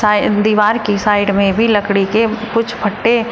दीवार की साइड में भी लकड़ी के कुछ फट्टे।